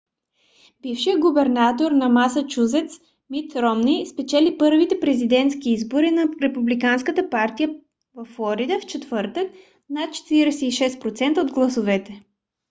бившият губернатор на масачузец мит ромни спечели първите президентски избори на републиканската партия във флорида в четвъртък с над 46% от гласовете